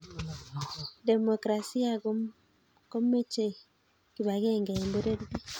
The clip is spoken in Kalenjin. demokrasia komechee kibakengee eng pororiet.